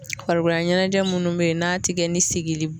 Farikolo laɲɛnajɛ munnu bɛ ye n'a ti kɛ ni sigili